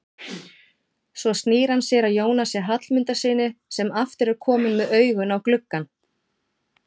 Svo snýr hann sér að Jónasi Hallmundssyni sem aftur er kominn með augun á gluggann.